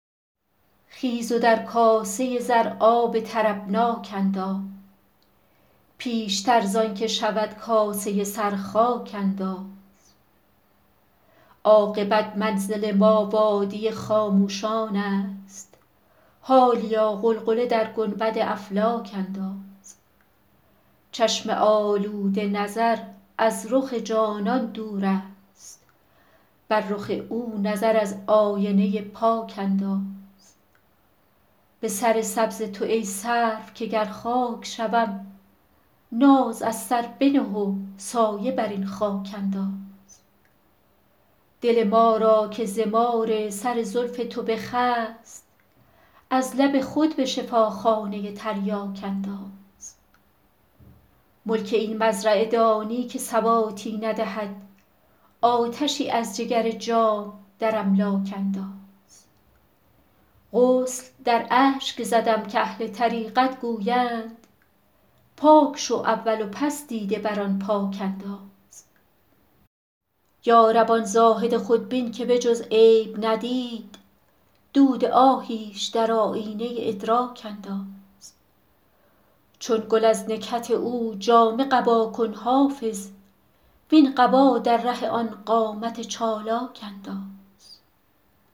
خیز و در کاسه زر آب طربناک انداز پیشتر زان که شود کاسه سر خاک انداز عاقبت منزل ما وادی خاموشان است حالیا غلغله در گنبد افلاک انداز چشم آلوده نظر از رخ جانان دور است بر رخ او نظر از آینه پاک انداز به سر سبز تو ای سرو که گر خاک شوم ناز از سر بنه و سایه بر این خاک انداز دل ما را که ز مار سر زلف تو بخست از لب خود به شفاخانه تریاک انداز ملک این مزرعه دانی که ثباتی ندهد آتشی از جگر جام در املاک انداز غسل در اشک زدم کاهل طریقت گویند پاک شو اول و پس دیده بر آن پاک انداز یا رب آن زاهد خودبین که به جز عیب ندید دود آهیش در آیینه ادراک انداز چون گل از نکهت او جامه قبا کن حافظ وین قبا در ره آن قامت چالاک انداز